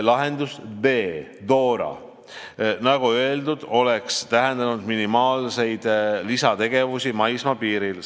Lahendus D, nagu öeldud, oleks tähendanud minimaalseid lisategevusi maismaapiiril.